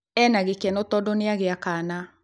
Ena gĩkeno tondu nĩagĩa kana